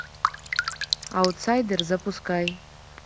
аутсайдер запускай